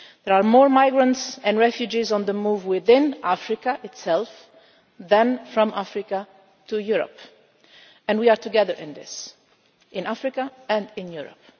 There are more migrants and refugees on the move within Africa itself than from Africa to Europe, and we are together in this in Africa and in Europe.